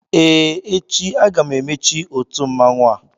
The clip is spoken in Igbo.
Ee, echi aga m emechi otu mmanwụ a